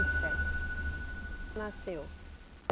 e sete. Nasceu.